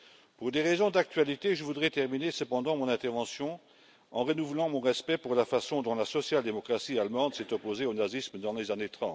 Pour des raisons d'actualité, je voudrais terminer cependant mon intervention en renouvelant mon respect pour la façon dont la social démocratie allemande s'est opposée au nazisme dans les années